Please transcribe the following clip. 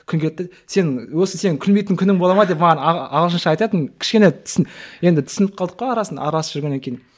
сен осы сенің күлмейтін күнің бола ма деп маған ағылшынша айтатын кішкене енді түсініп қалдық қой арасында араласып жүргеннен кейін